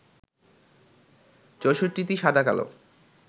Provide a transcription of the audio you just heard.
৬৪টি সাদা-কালো